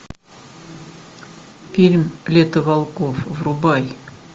фильм лето волков врубай